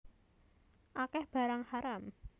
Akeh barang haram